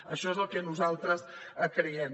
això és el que nosaltres creiem